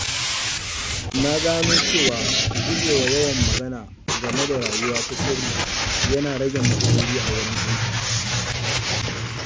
Na gano cewa gujewa yawan magana game da rayuwa ta sirri yana rage matsaloli a wurin aiki.